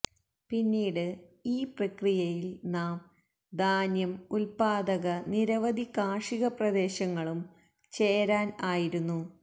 പിന്നീട് ഈ പ്രക്രിയയിൽ നാം ധാന്യം ഉത്പാദക നിരവധി കാർഷിക പ്രദേശങ്ങളും ചേരാൻ ആയിരുന്നു